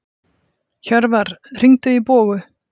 Hjörvar, hringdu í Bogu.